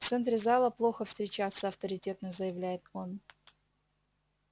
в центре зала плохо встречаться авторитетно заявляет он